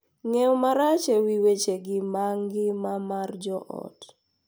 Ng’eyo marach e wi wechegi mag ngima mar joot .